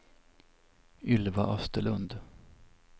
Ylva Österlund